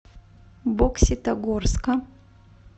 бокситогорска